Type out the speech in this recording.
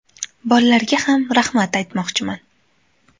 Bollarga ham rahmat aytmoqchiman.